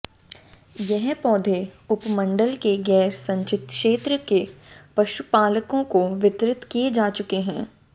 यह पौधे उपमंडल के गैर सिंचित क्षेत्र के पशुपालकों को वितरित किए जा चुके हैं